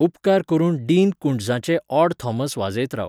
उपकार करून डीन कूंट्झाचें ऑड थॉमस वाजयत राव